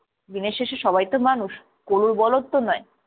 দিনের শেষে সবাই তো মানুষ কলুর বলদ তো নয়।